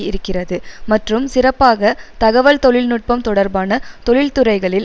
இருக்கிறது மற்றும் சிறப்பாக தகவல் தொழில் நுட்பம் தொடர்பான தொழிற்துறைகளில்